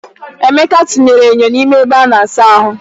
Emeka tinyere enyo n'ime ebe a na-asa ahụ.